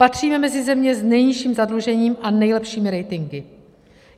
Patříme mezi země s nejnižším zadlužením a nejlepšími ratingy.